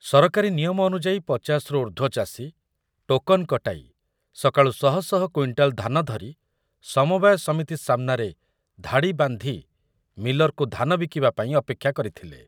ସରକାରୀ ନିୟମ ଅନୁଯାୟୀ ପଚାଶ ରୁ ଊର୍ଦ୍ଧ୍ବ ଚାଷୀ ଟୋକନ୍ କଟାଇ ସକାଳୁ ଶହ ଶହ କ୍ୱିଣ୍ଟାଲ୍ ଧାନ ଧରି ସମବାୟ ସମିତି ସାମନାରେ ଧାଡ଼ି ବାନ୍ଧି ମିଲରକୁ ଧାନ ବିକିବାପାଇଁ ଅପେକ୍ଷା କରିଥିଲେ ।